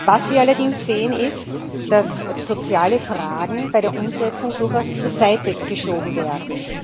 Was wir allerdings sehen, ist, dass soziale Fragen bei der Umsetzung durchaus zur Seite geschoben werden.